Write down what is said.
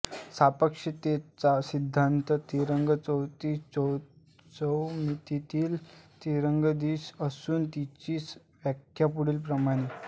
सापेक्षतेचा सिद्धान्तात तरंग चौदिश चौमितीतील तरंगदिश असून तिची व्याख्या पुढीलप्रमाणे